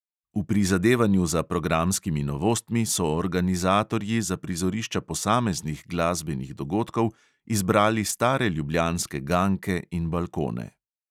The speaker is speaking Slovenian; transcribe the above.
V prizadevanju za programskimi novostmi so organizatorji za prizorišča posameznih glasbenih dogodkov izbrali stare ljubljanske ganke in balkone.